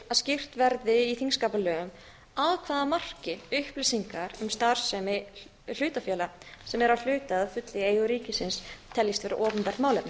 skýrt verði í þingskapalögum að hvaða marki upplýsingar um starfsemi hlutafélaga sem eru að hluta eða að fullu í eigu ríkisins teljist vera opinbert málefni